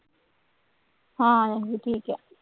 ਹਾਂਜੀ ਠੀਕ ਹੈ